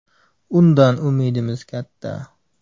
Undan umidimiz katta.